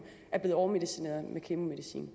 er blevet overmedicineret med kemomedicin